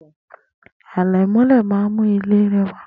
Àlẹ̀mọ́lẹ̀ má ń mú ilé rẹwà.